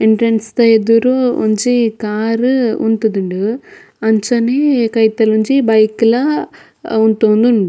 Entrance ದ ಎದುರು ಒಂಜಿ ಕಾರ್ ಉಂತುದುಂಡು ಅಂಚನೆ ಕೈತಲ್ ಒಂಜಿ ಬೈಕ್ ಲ ಉಂತೋಂದುಂಡು.